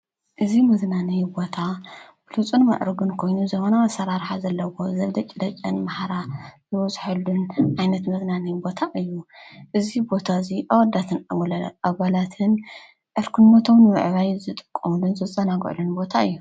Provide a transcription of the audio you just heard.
እዙይ መዝናነዪ ቦታ ብሉፁን መዕርግን ኮይኑ ዘሆነ ኣሠራርሓ ዘለዎ ዘብደ ጭደጨን መህራ ዝበጽሐሉን ኣይነት መድናነይ ቦታ እዩ እዙ ቦታ እዙይ ኣወዳትን እወለለ ኣበላትን ዕርክነቶምን ንምዕባይ ዝጥቆምንን ዘጸናጕዕሉን ቦታ እዩ።